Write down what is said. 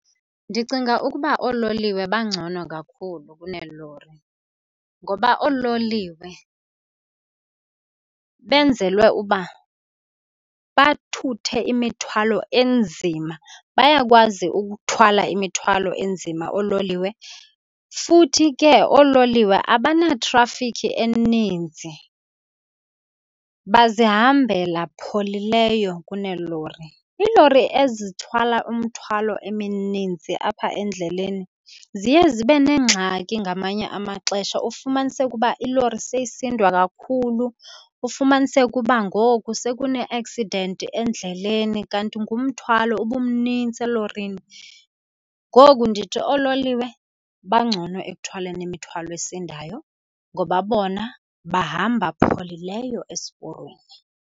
Ndicinga ukuba oololiwe bangcono kakhulu kuneelori ngoba oololiwe benzelwe uba bathuthe imithwalo enzima. Bayakwazi ukuthwala imithwalo enzima oololiwe, futhi ke oololiwe abana-traffic eninzi bazihambela pholileyo kuneelori. Iilori ezithwala umthwalo emininzi apha endleleni ziye zibe neengxaki ngamanye amaxesha, ufumaniseke uba ilori seyisindwa kakhulu, ufumaniseke uba ngoku sekune-accident endleleni kanti ngumthwalo ubumnintsi elorini. Ngoku ndithi oololiwe bangcono ekuthwaleni imithwalo esindayo ngoba bona bahamba pholileyo esiporweni.